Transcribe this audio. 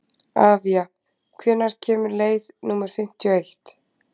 Avía, hvenær kemur leið númer fimmtíu og eitt?